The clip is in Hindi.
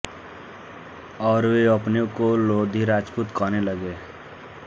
और वे अपने को लोधी राजपूत कहने लगे